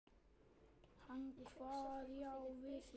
Hann kvað já við því.